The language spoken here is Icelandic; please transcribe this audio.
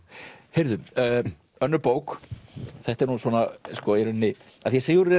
heyrðu önnur bók þetta er nú svona í rauninni af því Sigurður